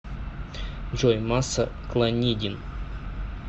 джой масса клонидин